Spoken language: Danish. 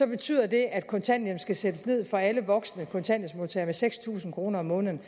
betyder det at kontanthjælpen skal sættes ned for alle voksne kontanthjælpsmodtagere med seks tusind kroner om måneden